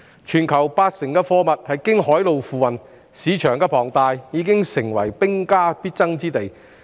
全球八成的貨物是經海路運輸，龐大的市場成為兵家必爭之地。